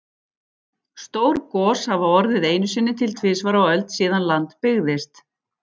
Stór gos hafa orðið einu sinni til tvisvar á öld síðan land byggðist.